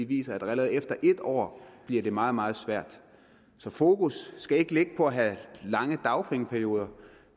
viser at det allerede efter et år bliver meget meget svært så fokus skal ikke være på at have lange dagpengeperioder